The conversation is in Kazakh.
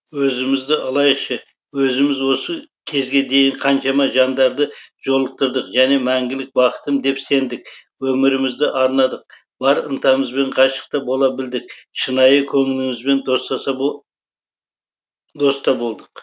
өзімізді алайықшы өзіміз осы кезге дейін қаншама жандарды жолықтырдық және мәңгілік бақтыттым деп сендік өмірімізді арнадық бар ынтамызбен ғашық та бола білдік шынайы көңілімізбен доста болдық